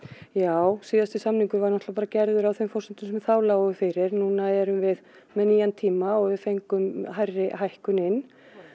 já síðasti samningur var náttúrulega gerður á þeim forsendum sem þá lágu fyrir núna erum við með nýjan tíma og við fengum hærri hækkun inn